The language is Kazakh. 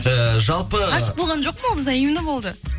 эээ жалпы ғашық болған жоқпын ол взаимно болды